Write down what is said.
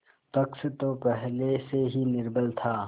पक्ष तो पहले से ही निर्बल था